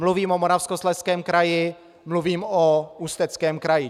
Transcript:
Mluvím o Moravskoslezském kraji, mluvím o Ústeckém kraji.